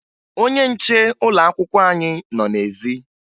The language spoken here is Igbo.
Ọnye nche ụlọakwụkwọ anyị nọ n'ezi